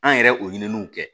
An yɛrɛ o ɲininiw kɛ